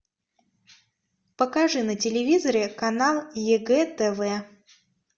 покажи на телевизоре канал егэ тв